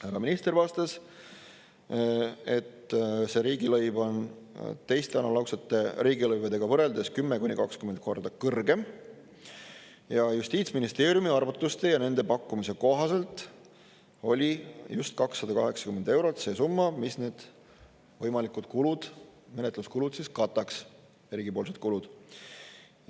Härra minister vastas, et see riigilõiv on teiste analoogsete riigilõivudega võrreldes 10–20 korda kõrgem ja Justiitsministeeriumi arvutuste ja nende pakkumise kohaselt oli just 280 eurot see summa, mis need võimalikud kulud, menetluskulud kataks, riigipoolsed kulud.